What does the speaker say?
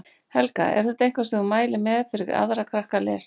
Helga: Er þetta eitthvað sem þú mælir með fyrir aðra krakka að lesa?